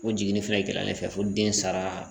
O jiginnin fɛnɛ kɛlen fɛ fo den sara